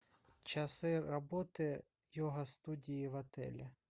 часы работы йога студии в отеле